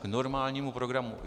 K normálnímu programu.